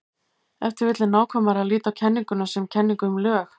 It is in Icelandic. Ef til vill er nákvæmara að líta á kenninguna sem kenningu um lög.